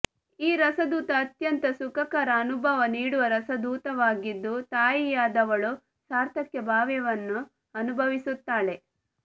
ಈ ರಸದೂತ ಅತ್ಯಂತ ಸುಖಕರ ಅನುಭವ ನೀಡುವ ರಸದೂತವಾಗಿದ್ದು ತಾಯಿಯಾದವಳು ಸಾರ್ಥಕ್ಯಭಾವನೆಯನ್ನು ಅನುಭವಿಸುತ್ತಾಳೆ